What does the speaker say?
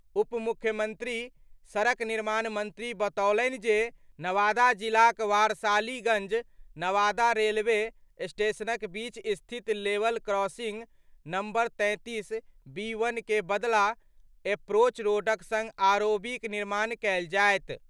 उप मुख्यमंत्री सड़क निर्माण मंत्री बतौलनि जे नवादा जिलाक वारसालीगंज-नवादा रेलवे स्टेशनक बीच स्थित लेवल क्रॉसिंग नंबर-33/बी1 के बदला एप्रोच रोडक संग आरओबीक निर्माण कयल जायत।